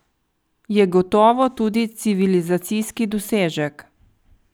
Je gotovo tudi civilizacijski dosežek.